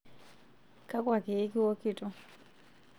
Kakua keek iwokito?